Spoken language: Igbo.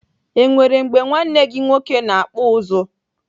Enwere mgbe nwanne gị nwoke na-akpụ ụzụ?